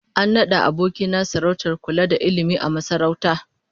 An nada aboki na sarautar kula da ilmi a masarauta